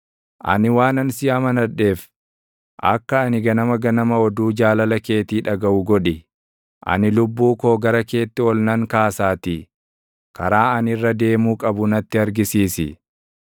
Ani waanan si amanadheef, akka ani ganama ganama oduu jaalala keetii dhagaʼu godhi. Ani lubbuu koo gara keetti ol nan kaasaatii, karaa ani irra deemuu qabu natti argisiisi.